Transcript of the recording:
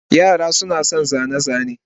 Yara suna son zane-zane.